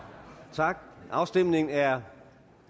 tak afstemningen er